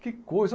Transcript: Que coisa!